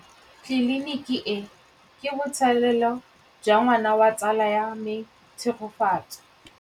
Tleliniki e, ke botsalêlô jwa ngwana wa tsala ya me Tshegofatso.